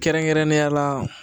Kɛrɛnkɛrɛnnenya la